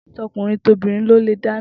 To̩kùnrintobìnrin ni ó lè dáná